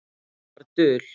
Hún var dul.